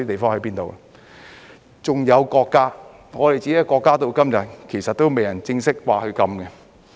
還有國家，我們自己的國家至今其實仍未正式說禁止。